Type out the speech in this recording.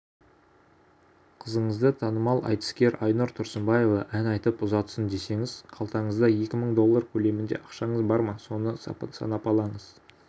қызыңызды танымал айтыскер айнұр тұрсынбаева ән айтып ұзатсын десеңіз қалтаңызда екі мың доллар көлемінде ақшаңыз бар ма соны санапалыңыз